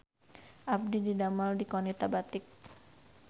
Abdi didamel di Qonita Batik